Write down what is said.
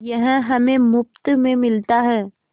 यह हमें मुफ्त में मिलता है